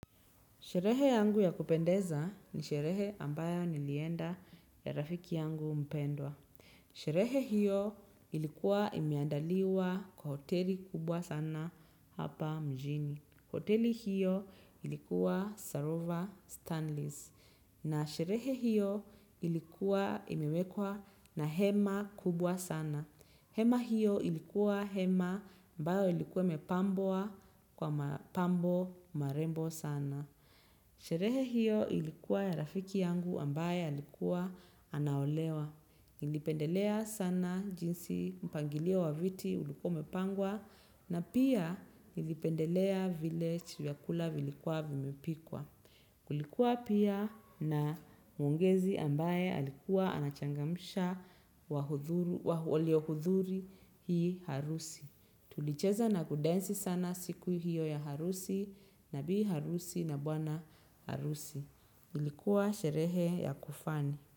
Sherehe yangu ya kupendeza ni sherehe ambayo nilienda ya rafiki yangu mpendwa. Sherehe hiyo ilikuwa imeandaliwa kwa hoteli kubwa sana hapa mjini. Hoteli hiyo ilikuwa Sarova Stanleys. Na sherehe hiyo ilikuwa imiwekwa na hema kubwa sana. Hema hiyo ilikuwa hema ambayo ilikuwa ime pambwa kwa mapambo marembo sana. Sherehe hiyo ilikuwa ya rafiki yangu ambaye alikuwa anaolewa. Nilipendelea sana jinsi mpangilio wa viti ulikua umepangwa na pia nilipendelea vile vyakula vilikuwa vimepikwa. Kulikuwa pia na mwongezi ambaye alikuwa anachangamsha walio hudhuria hii harusi. Tulicheza na kudensi sana siku hiyo ya harusi na bii harusi na bwana harusi. Ilikuwa sherehe ya kufani.